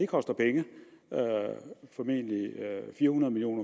koster penge formentlig fire hundrede million